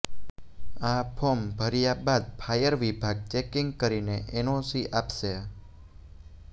આ ફોર્મ ભર્યા બાદ ફાયર વિભાગ ચેકિંગ કરીને એનઓસી આપશે